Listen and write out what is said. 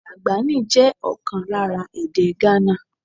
Dagbani jẹ́ ọ̀kan lára èdè Ghana.